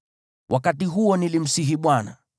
Wakati huo nilimsihi Bwana :